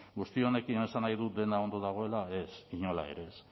guzti honekin esan nahi dut dena ondo dagoela ez inola ere ez